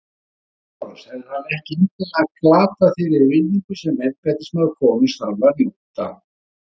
LÁRUS: Hefði hann ekki endanlega glatað þeirri virðingu sem embættismaður konungs þarf að njóta?